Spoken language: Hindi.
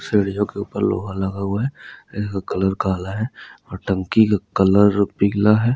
सीढ़ियों के ऊपर लोहा लगा हुआ है ये कलर काला है और टंकी का कलर पीला है।